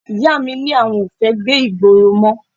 Ìyá mi ni àwọn ò fẹ́ gbé ìgboro mọ́